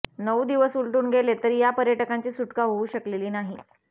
नऊ दिवस उलटून गेले तरी या पर्यटकांची सुटका होऊ शकलेली नाही